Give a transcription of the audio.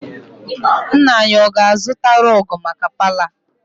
Nna anyi, ọ ga-azụta rọg maka palọ a?